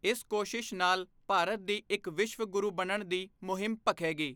ਇਸ ਕੋਸ਼ਿਸ਼ ਨਾਲ ਭਾਰਤ ਦੀ ਇੱਕ ਵਿਸ਼ਵ ਗੁਰੂ ਬਣਨ ਦੀ ਮੁਹਿੰਮ ਭਖੇਗੀ।